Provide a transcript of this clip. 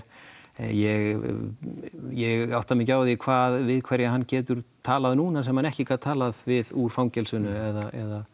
ég ég átta mig ekki á því hvað við hverja hann getur talað núna sem hann ekki gat talað við úr fangelsinu eða